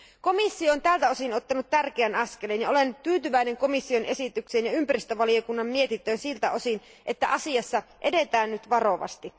Komission on tältä osin ottanut tärkeän askeleen, ja olen tyytyväinen komission esitykseen ja ympäristövaliokunnan mietintöön siltä osin, että asiassa edetään nyt varovasti.